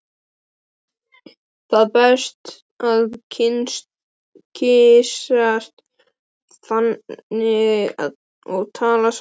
Það er betra að kyssast þannig og tala saman.